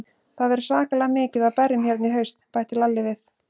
Það verður svakalega mikið af berjum hérna í haust, bætti Lalli við.